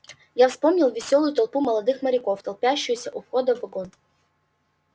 я вспомнил весёлую толпу молодых моряков толпящуюся у входа в вагон